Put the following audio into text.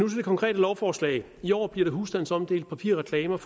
det konkrete lovforslag i år bliver der husstandsomdelt papirreklamer